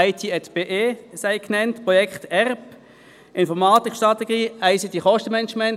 IT@BE, Projekt Enterprise Resource Planning (ERP), Informatikstrategie, ICT-Kostenmanagement.